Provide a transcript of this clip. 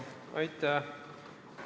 Aitäh!